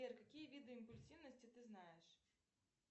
сбер какие виды импульсивности ты знаешь